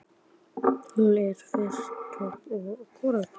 Hún er í fyrstu tortryggin á tíðar komur